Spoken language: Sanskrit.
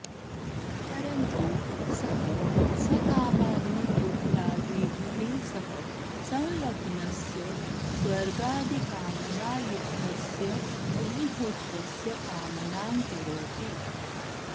परन्तु सः सकामाग्निहोत्रादिभिः सह सँल्लग्नस्य स्वर्गादिकामनायुक्तस्य अग्निहोत्रस्य कामनां करोति